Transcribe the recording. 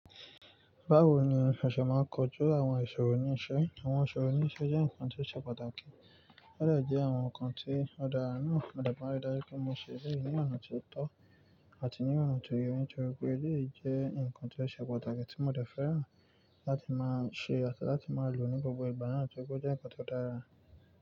Báwo ni o ṣe máa ń kojú àwọn ìṣòro ní iṣẹ́? Àwọn ìṣòro ní iṣẹ́ jẹ́ nǹkan tí ó ṣe pàtàkì. Ó de jẹ́ àwọn nǹkan tí ó dára na. Mo dẹ̀ ma n ri dàju pé mo ṣe eleyìí ní ọ̀nà tó tọ́ àti ní ọ̀nà tó yẹ ní torí pé eléyìí jẹ́ nǹkan tí ó ṣe pàtàkì tí mo dẹ̀ fẹ́ràn láti máa ṣe àti láti máa lò ní gbogbo ìgbà náà torí pé ó jẹ́ nǹkan tó dára.